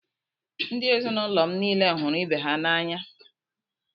Ndị ezinụlọ m niile hụrụ ibe ha n’anya.